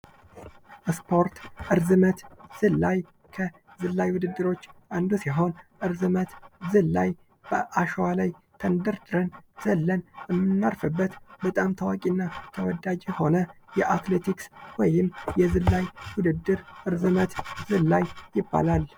ስፖርት ርዝመት ዝላይ ከርዝመት ውድድርሮች ውስጥ አንዱ ሲሆን በአሸዋ ላይ ዘለን እና ተንደርድረን የምናርፍበት በጣም ታዋቂና ተወዳጅ የሆነ የአትሌቲክስ ወይም የርዝመት ዝላይ ውድድር እርዝመት ዝላይ ይባላል።